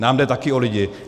Nám jde taky o lidi.